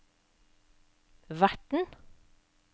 verten